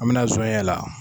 An bI na zɔnɲɛ la.